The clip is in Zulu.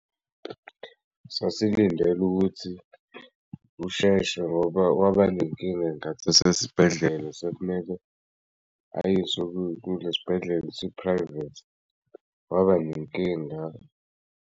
Sasilindele ukuthi usheshe ngoba waba nenkinga ngathi asesibhedlela sekumele ayiswe kulesi bhedlela esi-private waba nenkinga.